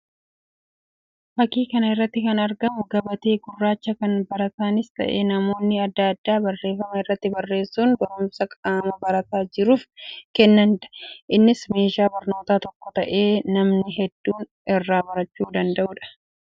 Fakkii kana irratti kan argamu gabatee gurraacha kan baraataanis ta'e; namoonni addaa addaa barreeffama irratti barreessuun barumsa qaama barataa jiruuf kennaniidha. Innis meeshaa barnoota tokko ta'ee namni hedduun irraa barachuu danda'uudha.